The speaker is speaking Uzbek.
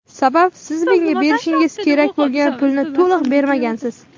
Sababi siz menga berishingiz kerak bo‘lgan pulni to‘liq bermagansiz.